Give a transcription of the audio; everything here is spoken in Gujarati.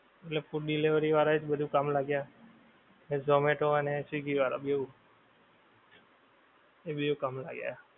મતલબ food delivery વાળાં એ જ બધુ કામ લાગ્યા. ને ઝોમેટો અને સ્વીગી વાળાં બેવ, એ બેવ કામ લાગ્યા.